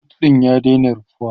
boot ɗin ya daina rufewa